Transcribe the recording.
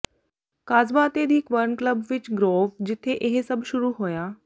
Casbah ਅਤੇ the Cavern club ਵਿਚ Grove ਜਿੱਥੇ ਇਹ ਸਭ ਸ਼ੁਰੂ ਹੋਇਆ